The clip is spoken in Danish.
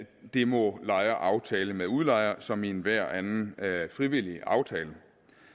det må lejer aftale med udlejer som i enhver anden frivillig aftale